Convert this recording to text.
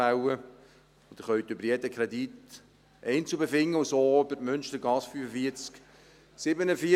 Sie können über jeden Kredit einzeln befinden, und so auch über die Münstergasse 45/47.